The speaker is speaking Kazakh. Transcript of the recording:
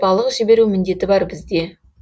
балық жіберу міндеті бар бізде